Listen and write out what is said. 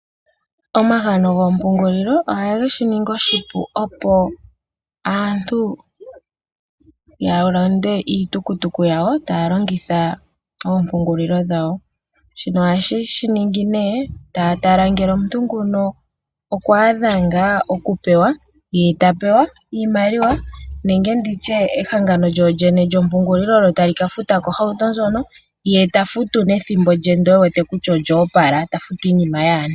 Omahangano goompungulilo ohage shi ningi oshipu, opo aantu ya lande iitukutuku yawo taya longitha oompungulilo dhawo. Shino ohaye shi ningi nduno taya tala ngele omuntu ngoka okwa adha ngaa okupewa ye ta pewa iimaliwa nenge ndi tye ehangano lyompungulilo tali ka futila ko ohauto ndjoka ye ta futu kehe omwedhi, opo a fute iimaliwa yaantu.